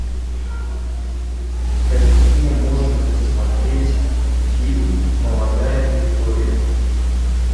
какие можно посмотреть фильм молодая виктория